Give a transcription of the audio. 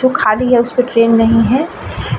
जो खाली है उसपे ट्रैन नहीं हैं ।